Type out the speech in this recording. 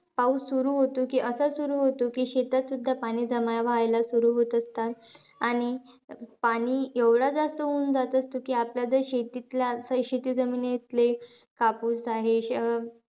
पाऊस सुरु होतो की, असा सुरु होतो की, शेतातसुद्धा पाणी जमा व्हायला सुरु होऊन जात असतात. आणि पाणी एवढा जास्त होऊन जात असतं की, आपल्या शेतीतल्या शेती जमिनीतले कापूस आहे,